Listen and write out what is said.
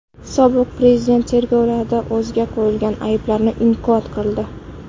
Sobiq prezident tergovlarda o‘ziga qo‘yilgan ayblarni inkor qildi.